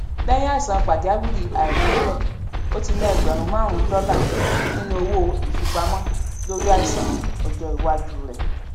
lẹyìn àìsàn pàjáwìrì aláìròtẹlẹ ó ti ná ẹgbẹrún márùnún dọlà nínú owó ìfipamọ lórí àìsàn ọjọ iwájú rẹ